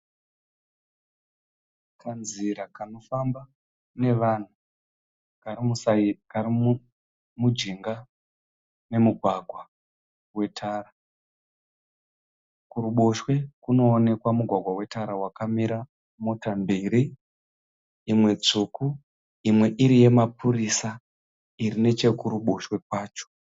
Kanzira kanofamba nevanhu kari mujinga memugwagwa wetara, kuruboshwe kunooneka mugwagwa wetara wakamira mota mbiri imwe tsvuku imwe iri ye mapurisa iri nechekuruboshwe kwacho.